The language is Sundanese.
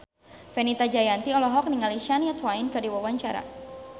Fenita Jayanti olohok ningali Shania Twain keur diwawancara